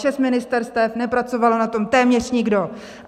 Šest ministerstev, nepracoval na tom téměř nikdo.